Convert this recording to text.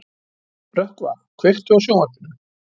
Rökkva, kveiktu á sjónvarpinu.